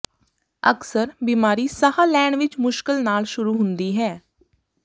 ਅਕਸਰ ਬਿਮਾਰੀ ਸਾਹ ਲੈਣ ਵਿੱਚ ਮੁਸ਼ਕਲ ਨਾਲ ਸ਼ੁਰੂ ਹੁੰਦੀ ਹੈ